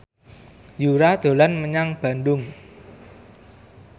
Yura dolan menyang Bandung